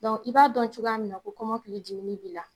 Dɔnku i b'a dɔn cogoya mina ko kɔmɔkili jiwuli b'i la